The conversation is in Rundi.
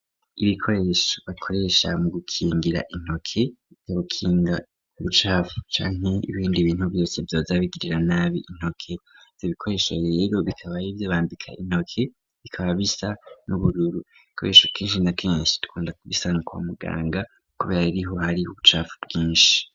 Ibikoresho bakoresha mu gukingira intoke bikabukinga ubucapfu canke ibindi bintu vyose vyoza bigirira nabi intoke .Ivyo ibikoresho yero bikabayibyo bambika intoke bikaba bisa n'ubururu bikoresho kenshi na kenshi tukunda kubisanu kwa muganga kubera iriho hari ubucapfu bwinshi.